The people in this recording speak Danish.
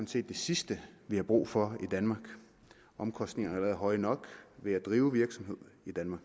set det sidste vi har brug for i danmark omkostningerne er høje nok ved at drive virksomhed